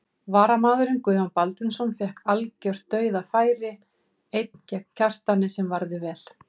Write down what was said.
Varamaðurinn Guðjón Baldvinsson fékk algjört dauðafæri einn gegn Kjartani sem varði vel.